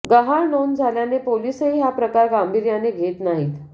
गहाळ नोंद झाल्याने पोलिसही हा प्रकार गांभीर्याने घेत नाहीत